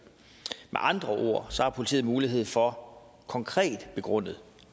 med andre ord har politiet mulighed for konkret begrundet